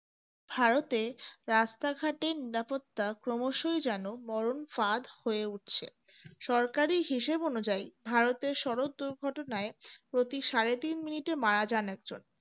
ভারতে রাস্তাঘাটে নিরাপত্তা ক্রমশই যেন মরণ ফাঁদ হয়ে উঠছে। সরকারি হিসেব অনুযায়ী ভারতের সড়ক দুর্ঘটনায় প্রতি সাড়ে তিন minute এ মারা যান এক জন